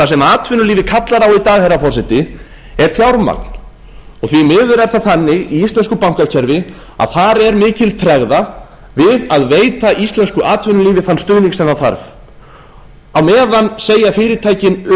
það sem atvinnulífið kallar á í dag herra forseti er fjármagn því miður er það þannig í íslensku bankakerfi að þar er mikil tregða við að veita íslensku atvinnulífi þann stuðning sem það þarf á meðan segja fyrirtækin upp